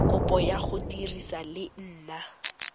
kopo ya go dirisa leina